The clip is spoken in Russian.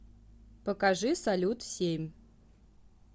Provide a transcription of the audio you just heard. покажи салют семь